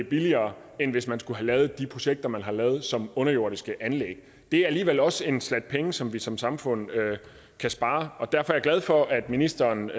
billigere end hvis man skulle have lavet de projekter man har lavet som underjordiske anlæg det er alligevel også en slat penge som vi som samfund kan spare og derfor er jeg glad for at ministeren